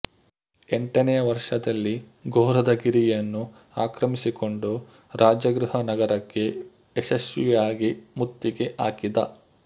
ಎಂಟನೆಯ ವರ್ಷದಲ್ಲಿ ಗೊರಧಗಿರಿಯನ್ನು ಆಕ್ರಮಿಸಿಕೊಂಡು ರಾಜಗೃಹ ನಗರಕ್ಕೆ ಯಶಸ್ವಿಯಾಗಿ ಮುತ್ತಿಗೆ ಹಾಕಿದ